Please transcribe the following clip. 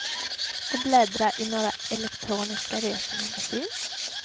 Och bläddra i några elektroniska resemagasin.